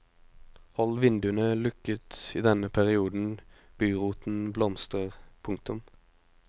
Hold vinduene lukket i den perioden buroten blomstrer. punktum